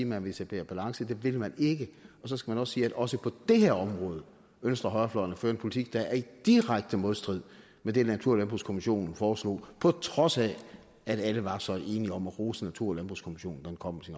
man vil etablere balance det vil man ikke og så skal man sige at også på det her område ønsker højrefløjen at føre en politik der er i direkte modstrid med det natur og landbrugskommissionen foreslog på trods af at alle var så enige om at rose natur og landbrugskommissionen da den kom